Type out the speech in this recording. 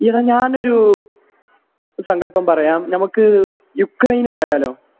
എടാ ഞാൻ ഒരു സങ്കൽപ്പം പറയാം നമുക്ക് യുക്രൈൻ പോയാലോ